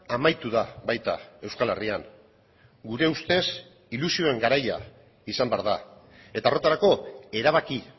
amaitu da baita euskal herrian gure ustez ilusioen garaia izan behar da eta horretarako erabaki